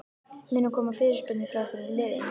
Munu koma fyrirspurnir frá einhverjum liðum?